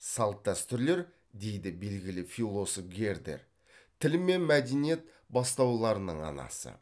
салт дәстүрлер дейді белгілі философ гердер тіл мен мәдениет бастауларының анасы